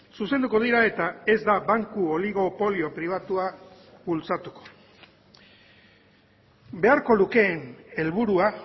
zuzenduko dira eta ez da banku oligopolio pribatua bultzatuko beharko lukeen helburua